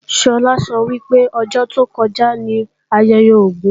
Sọlá sọ wípé ọjọ́ tó kọjá ní ayẹyẹ Ògún